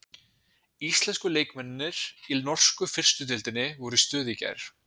Íslensku leikmennirnir í norsku fyrstu deildinni voru í stuði í gær.